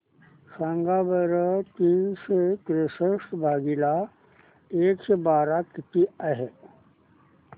सांगा बरं तीनशे त्रेसष्ट भागीला एकशे बारा किती आहे